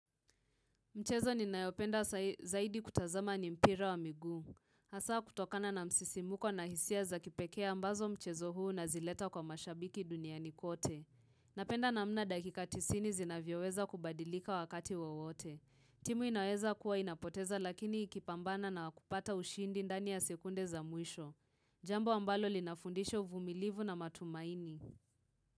Mchezo ni nayopenda zaidi kutazama ni mpira wa miguu. Hasaa kutokana na msisimuko na hisia za kipekea ambazo mchezo huu na unazileta kwa mashabiki dunia nikote. Napenda namna dakika ti sini zinavyoweza kubadilika wakati wowote. Timu inaweza kuwa inapoteza lakini ikipambana na kupata ushindi ndani ya sekunde za mwisho. Jambo ambalo linafundisho vumilivu na matumaini.